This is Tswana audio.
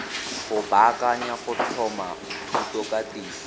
go baakanya go tlhoma thutokatiso